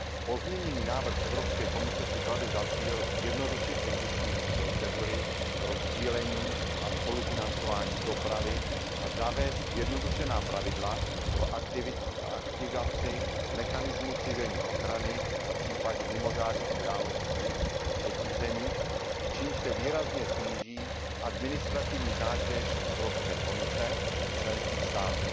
Pozměněný návrh Evropské komise si klade za cíl zjednodušit existující procedury pro sdílení a spolufinancování dopravy a zavést zjednodušená pravidla pro aktivaci mechanismu civilní ochrany v případě mimořádných událostí ve třetích zemích, čímž se výrazně sníží administrativní zátěž Evropské komise i členských států.